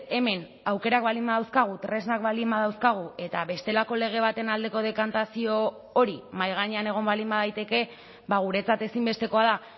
hemen aukerak baldin badauzkagu tresnak baldin badauzkagu eta bestelako lege baten aldeko dekantazio hori mahai gainean egon baldin badaiteke guretzat ezinbestekoa da